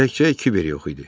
Təkcə Kiber yox idi.